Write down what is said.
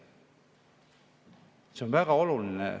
See on väga oluline.